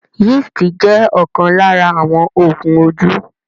Yeast jẹ̀ ọ̀kan lára àwọn Oògùn ojú